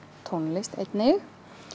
tónlist einnig